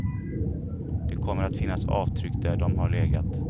Det kommer att finnas avtryck där de har legat.